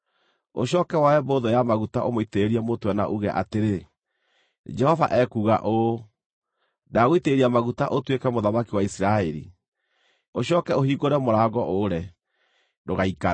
Ũcooke woe mbũthũ ya maguta ũmũitĩrĩrie mũtwe na uuge atĩrĩ, ‘Jehova ekuuga ũũ: Ndagũitĩrĩria maguta ũtuĩke mũthamaki wa Isiraeli.’ Ũcooke ũhingũre mũrango ũre; ndũgaikare!”